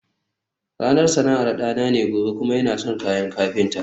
ranar sana'ar dana ne gobe kuma yana son kayan kafinta